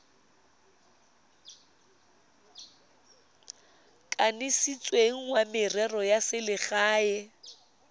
kanisitsweng wa merero ya selegae